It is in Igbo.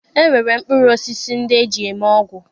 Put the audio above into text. E nwere mkpụrụ osisi ndị eji eme ọgwụ